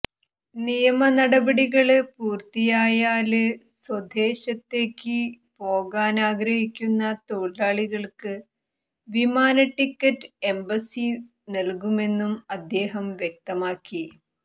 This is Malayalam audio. നിയമ നടപടികള് പൂര്ത്തിയായാല് സ്വദേശത്തേക്ക് പോകാന് ആഗ്രഹിക്കുന്ന തൊഴിലാളികള്ക്ക് വിമാന ടിക്കറ്റ് എംബസി നല്കുമെന്നും അദ്ദേഹം വ്യക്തമാക്കി